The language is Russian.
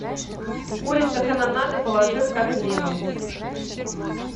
курица канонада положи в корзину